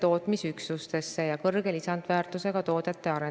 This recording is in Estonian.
Palun teil jagada ka sel teemal pisut rohkem infot: mis te nende vanemahüvitistega ette võtate?